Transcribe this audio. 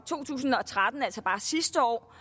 to tusind og tretten altså bare sidste år